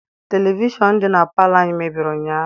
Televishọn di na palọ anyị mebiri ụnyaahụ.